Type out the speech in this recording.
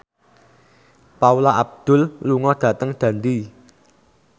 Paula Abdul lunga dhateng Dundee